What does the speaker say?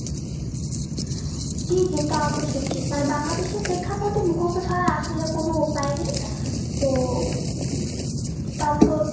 জি জি তা অবশ্য ঠিক। মানে Bangladesh এ প্রেক্ষাপটই মুখস্ত ছাড়া আসলে কোনো উপায় নেই। তো তারপর